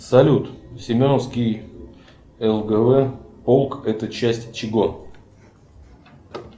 салют семеновский лгв полк это часть чего